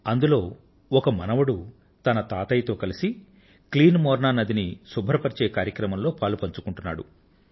అందులో ఒక మనవడు తన తాతయ్యతో కలిసి క్లీన్ మోర్నా నదిని శుభ్రపరచే కార్యక్రమంలో పలుపంచుకొంటున్నాడు